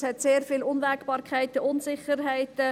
Es hat sehr viele Unwägbarkeiten und Unsicherheiten.